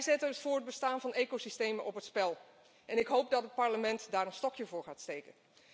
Zij zetten het voortbestaan van ecosystemen op het spel en ik hoop dat het Parlement daar een stokje voor gaat steken.